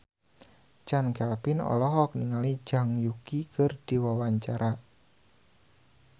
Chand Kelvin olohok ningali Zhang Yuqi keur diwawancara